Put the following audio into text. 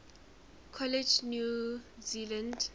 college new zealand